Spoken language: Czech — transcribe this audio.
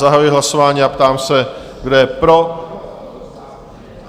Zahajuji hlasování a ptám se, kdo je pro?